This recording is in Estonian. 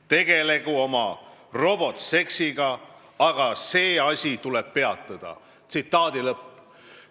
Tegelgu oma robotseksiga, aga see asi tuleb peatada!